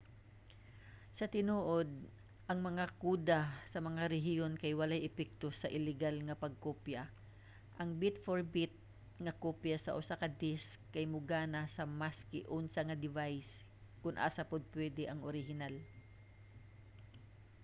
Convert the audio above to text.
sa tinuod ang mga koda sa mga rehiyon kay walay epekto sa illegal nga pagkopya; ang bit-for-bit nga kopya sa usa ka disk kay mogana sa maski unsa nga device kung asa pod pwede ang orihinal